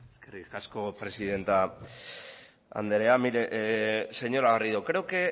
eskerrik asko presidente andrea mire señora garrido creo que